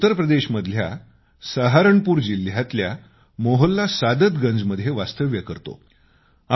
मी उत्तर प्रदेशमधल्या सहारणपूर जिल्ह्यातल्या मोहल्ला सादतगंज मध्ये वास्तव्य करतो